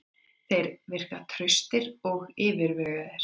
Þeir virka traustir og yfirvegaður.